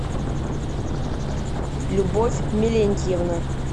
любовь милентьевна